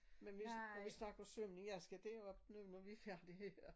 Men hvis når vi snakker svømning jeg skal derop nu når vi er færdige her